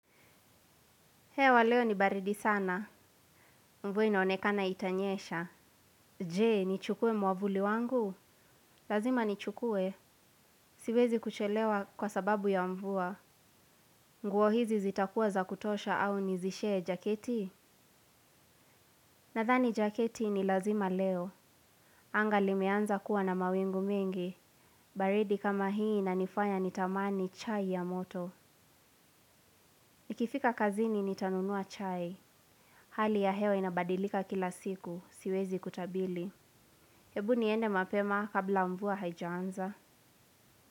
Hewa leo ni baridi sana. Mvua inaonekana itanyesha. Ne nichukue mwavuli wangu. Lazima ni chukue. Siwezi kuchelewa kwa sababu ya mvua. Nguo hizi zitakuwa za kutosha au nizishe jaketi? Nadhani jaketi ni lazima leo. Anga limeanza kuwa na mawingu mingi. Baridi kama hii inanifanya nitamani chai ya moto. Nikifika kazini nitanunua chai. Hali ya hewa inabadilika kila siku. Siwezi kutabili. Hebu niende mapema kabla mvua haijanza.